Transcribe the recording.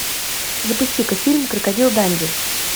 запусти ка фильм крокодил данди